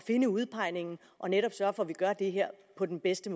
finde udpegningen og netop sørge for at vi gør det her på den bedste